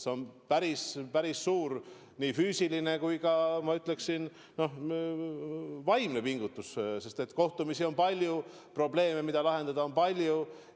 See on päris suur nii füüsiline kui ka, ma ütleksin, vaimne pingutus, sest kohtumisi on palju ja probleeme, mida lahendada, on palju.